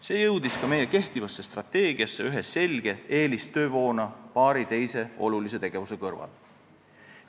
See jõudis ühe selge eelistöövoona paari teise olulise tegevuse kõrval ka meie kehtivasse strateegiasse.